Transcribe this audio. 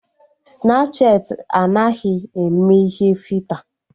Snapchatị anaghịzị eme ihe fita